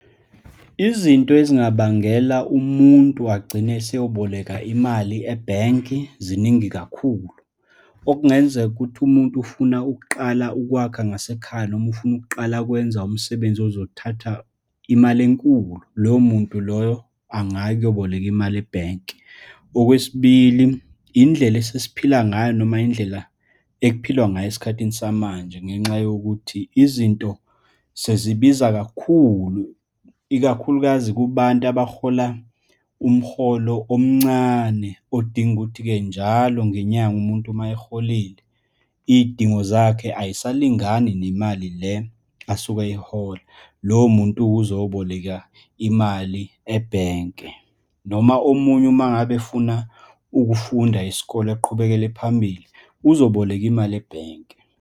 Izinto ezingabangela umuntu agcine eseyoboleka imali ebhenki ziningi kakhulu, okungenzeka ukuthi umuntu ufuna ukuqala ukwakha ngasekhaya, noma ufuna ukuqala ukwenza umsebenzi ozothatha imali enkulu, loyo muntu loyo angaya ukuyoboleka imali ebhenki. Okwesibili, indlela esesiphila ngayo, noma indlela ekuphilwa ngayo esikhathini samanje, ngenxa yokuthi izinto sezibiza kakhulu, ikakhulukazi kubantu abahola umholo omncane, odinga ukuthi-ke njalo ngenyanga umuntu uma eholile, iy'dingo zakhe ayisalingani nemali le asuke eyihola. Lowo muntu-ke uzoboleka imali ebhenke, noma omunye uma ngabe efuna ukufunda isikole, aqhubekele phambili, uzoboleka imali ebhenki.